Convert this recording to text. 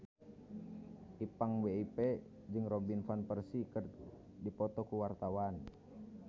Ipank BIP jeung Robin Van Persie keur dipoto ku wartawan